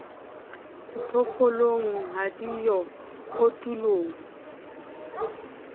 diphoofolong ha di yo kotulong